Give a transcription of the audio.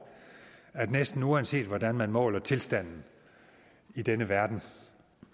at næsten uanset hvordan man måler tilstanden i denne verden